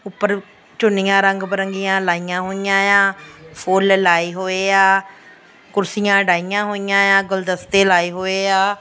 ਉਪਰ ਚੁੰਨੀਆਂ ਰੰਗ ਪਰੰਗੀਆਂ ਲਾਈਆਂ ਹੋਈਆਂ ਆ ਫੁੱਲ ਲਾਏ ਹੋਏ ਆ ਕੁਰਸੀਆਂ ਡਾਈਆਂ ਹੋਈਆਂ ਆ ਗੁਲਦਸਤੇ ਲਾਏ ਹੋਏ ਆ।